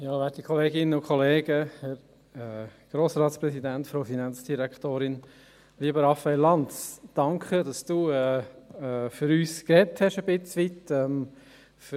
Danke, Raphael Lanz, dass Sie zu einem gewissen Teil für uns, für Biel, gesprochen haben.